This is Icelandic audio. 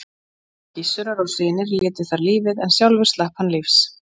Kona Gissurar og synir létu þar lífið en sjálfur slapp hann lífs.